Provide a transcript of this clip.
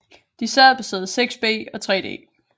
De sad på sæde 6B og 3D